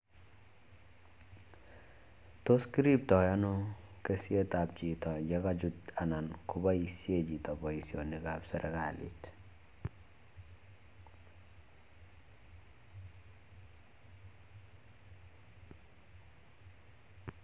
Tos kiriptoi ano kisietab chito ye kachut anan koboishe chito boisionika serikalit?